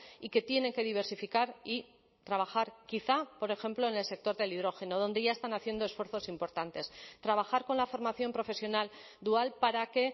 y que tienen que diversificar y trabajar quizá por ejemplo en el sector del hidrógeno donde ya están haciendo esfuerzos importantes trabajar con la formación profesional dual para que